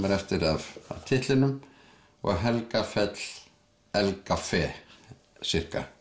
er eftir af titlinum og Helgafell Helgafell